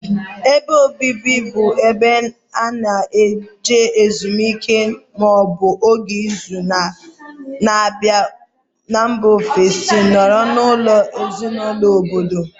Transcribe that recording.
Ébé obibi bụ ebe ana eje ezumike maọbu ógè ịzụ n' mba ofesi nọrọ n' ụlọ ezinụlọ ọbọdọ.